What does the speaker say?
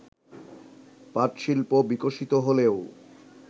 পাটশিল্প বিকশিত হলেও